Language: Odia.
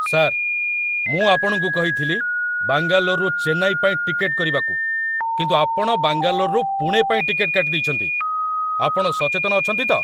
ସାର୍! ମୁଁ ଆପଣଙ୍କୁ କହିଥିଲି ବାଙ୍ଗାଲୋରରୁ ଚେନ୍ନାଇ ପାଇଁ ଟିକେଟ୍‌ କରିବାକୁ, କିନ୍ତୁ ଆପଣ ବାଙ୍ଗାଲୋରରୁ ପୁଣେ ପାଇଁ ଟିକେଟ୍‌ କାଟିଦେଇଛନ୍ତି। ଆପଣ ସଚେତନ ଅଛନ୍ତି ତ?